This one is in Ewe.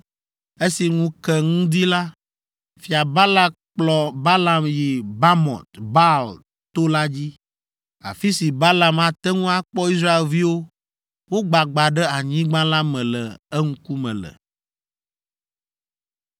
Esi ŋu ke ŋdi la, Fia Balak kplɔ Balaam yi Bamɔt Baal to la dzi, afi si Balaam ate ŋu akpɔ Israelviwo wogbagba ɖe anyigba la me le eŋkume le.